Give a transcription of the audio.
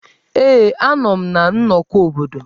Ee, a nọ m na nnọkọ obodo.